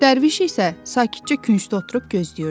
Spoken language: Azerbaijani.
Dərviş isə sakitcə küncdə oturub gözləyirdi.